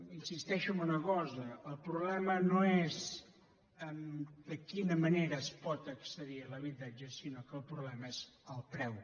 insisteixo en una cosa el problema no és de quina manera es pot accedir a l’habitatge sinó que el problema és el preu